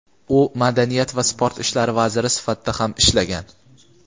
u Madaniyat va sport ishlari vaziri sifatida ham ishlagan.